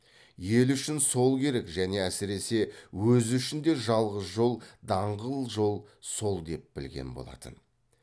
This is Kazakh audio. ел үшін сол керек және әсіресе өзі үшін де жалғыз жол даңғыл жол сол деп білген болатын